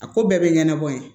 A ko bɛɛ bɛ ɲɛnabɔ ye